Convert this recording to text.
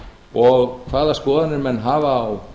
og hvaða skoðanir menn hafa á